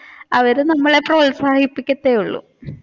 അവർ നമ്മളെ പ്രോത്സാഹിപ്പിക്കത്തെ ഉള്ളു.